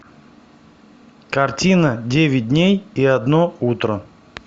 картина девять дней и одно утро